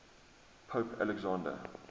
pope alexander